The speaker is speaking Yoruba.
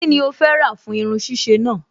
Kí ni o fẹ́ rà fún irun ṣíṣe náà?